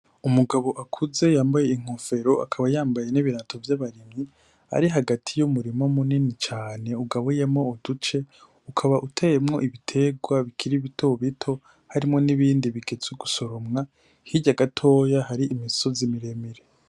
Umugabo akuze yambaye inkofero akaba yambaye n'ibirato vy'abaremyi ari hagati y'umurimo munini cane ugabuyemo uduce ukaba uteemwo ibiterwa bikiri bitobito harimwo n'ibindi bike z'ugusorumwa hirya agatoya hari imisozi miremire.